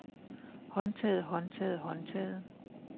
håndtaget håndtaget håndtaget